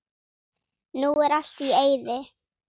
Nú er allt í eyði.